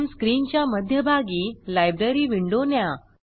प्रथम स्क्रीनच्या मध्यभागी लायब्ररी विंडो न्या